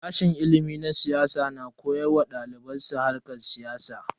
Sashen ilimin siyasa na koyar wa daliban su harkar siyasa.